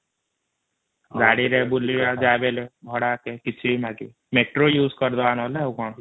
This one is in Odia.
ଗାଡି ରେ ବୂଲଇବା ଝାହେଲେ ବି ଭଡା କିଛି ମାଗିବ ମେଟ୍ରୋ ଇଉଜ କରିଡବା ନହେଲେ ଆଉ କ'ଣ